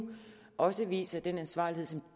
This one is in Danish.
også viser den ansvarlighed som